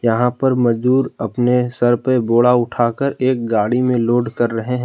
यहां पर मजदूर अपने सर पे बोड़ा उठाकर एक गाड़ी में लोड कर रहे हैं।